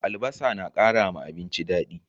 Albasa na kara abinci dadi